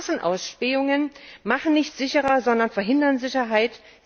Massenausspähungen machen nicht sicherer, sondern verhindern Sicherheit.